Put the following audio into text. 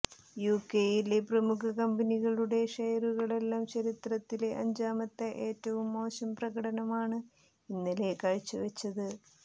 യുകെയിലെ പ്രമുഖ കമ്പനികളുടെ ഷെയറുകളെല്ലാം ചരിത്രത്തിലെ അഞ്ചാമത്തെ ഏറ്റവും മോശം പ്രകടനമാണ് ഇന്നലെ കാഴ്ചവെച്ചത്